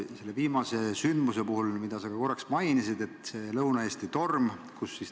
Sa korraks mainisid ka meie viimast sündmust, seda Lõuna-Eesti tormi.